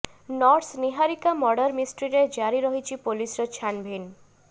nurse Niharika murder ମିଷ୍ଟ୍ରିରେ ଜାରି ରହିଛି ପୋଲିସର ଛାନ୍ଭିନ୍